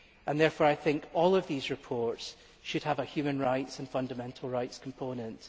Therefore, I think all these reports should have a human rights and fundamental rights component.